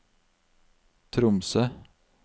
Tromsø